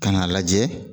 Ka n'a lajɛ